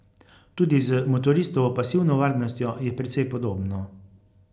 Tudi z motoristovo pasivno varnostjo je precej podobno.